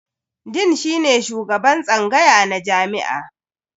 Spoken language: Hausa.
Dean shine shugaban tsangaya na jami'a.